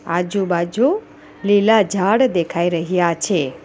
આજુબાજુ લીલા ઝાડ દેખાઈ રહ્યા છે.